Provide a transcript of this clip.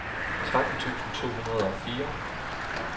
tretten tusind to hundrede og fire